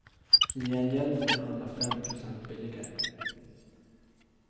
I gengäld får de handla fem procent billigare.